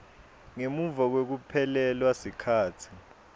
ngemuva kwekuphelelwa sikhatsi